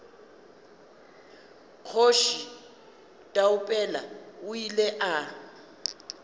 kgoši taupela o ile a